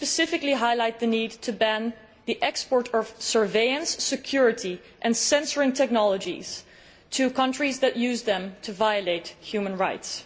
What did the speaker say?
Let me specifically highlight the need to ban the export of surveillance, security and censoring technologies to countries that use them to violate human rights.